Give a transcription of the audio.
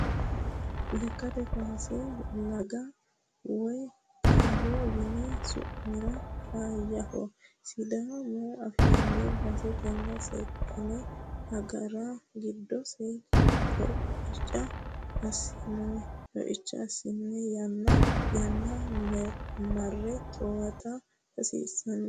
Lekkate kaawase laga woyi xawo yine su'miniro faayyaho sidaamu afiinni base tene seekkine agara giddose coicha assanna yanna yanna marre towaatta hasiisano.